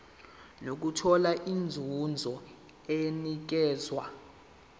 nokuthola inzuzo enikezwa